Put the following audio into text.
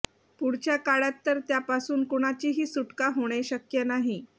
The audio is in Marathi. पुढच्या काळात तर त्यापासून कुणाचीही सुटका होणे शक्य नाही